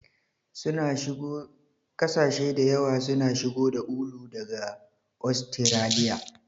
Kasashe da yawa suna shigo da ulu daga Ostiraliya.